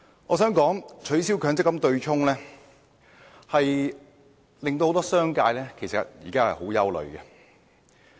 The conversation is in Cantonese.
我想指出，取消強積金對沖機制會令很多商界人士十分憂慮。